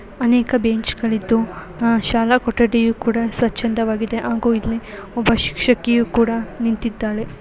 ಅನೇಕ ಬೆಂಚ್ಗಳಿದ್ದು ಅಹ್ ಶಾಲಾ ಕೊಠಡಿಯು ಕೂಡ ಸ್ವಚ್ಛಂದವಾಗಿದೆ ಹಾಗು ಇಲ್ಲಿ ಒಬ್ಬ ಶಿಕ್ಷಕಿಯು ಕೂಡ ನಿಂತಿದ್ದಾಳೆ.